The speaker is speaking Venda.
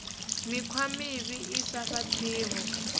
mikhwa mivhi i sa fhaṱiho